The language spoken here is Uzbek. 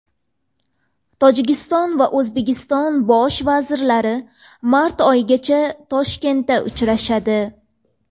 Tojikiston va O‘zbekiston bosh vazirlari mart oxirigacha Toshkentda uchrashadi.